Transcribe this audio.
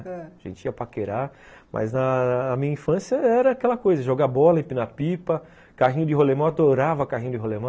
Ãh, a gente ia paquerar, mas na a minha infância era aquela coisa, jogar bola, empinar pipa, carrinho de rolimã, eu adorava carrinho de rolimã.